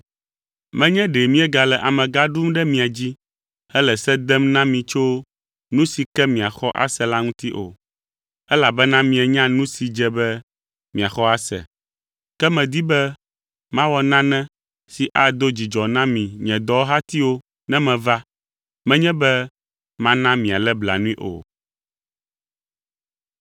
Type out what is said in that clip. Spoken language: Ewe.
Menye ɖe míegale amegã ɖum ɖe mia dzi hele se dem na mi tso nu si ke miaxɔ ase la ŋuti o, elabena mienya nu si dze be miaxɔ ase. Ke medi be mawɔ nane si ado dzidzɔ na mi, nye dɔwɔhatiwo ne meva, menye be mana mialé blanui o.